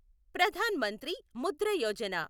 Pradhan Mantri Mudra Yojana